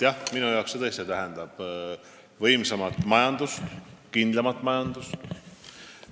Jah, minu jaoks see tõesti tähendab võimsamat majandust, kindlamat majandust.